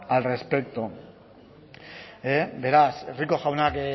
al respecto beraz rico jaunak